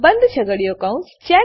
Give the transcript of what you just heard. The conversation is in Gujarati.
બંધ છગડીયો કૌંસ